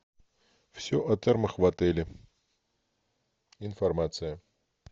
все о термах в отеле информация